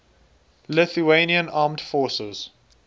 lithuanian armed forces